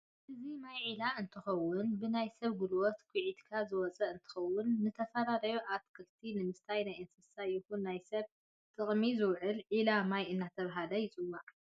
እዚ ማይ ዒላ እንትኸውን ብናይ ሰብ ጉልበት ኩዒትካ ዝወፀ እንትኸውን ንተፈላለዩ ኣትልቲታ ንምስታይን ናይ እንስሳ ይኹን ናይ ሰብ ጥቅሚ ዝውዕል ዒላ ማይ እናተባሀለ ይፅዋዕ፡፡